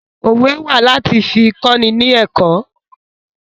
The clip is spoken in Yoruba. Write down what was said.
Òwe wà láti fi kọ́ni ni ẹ̀kọ́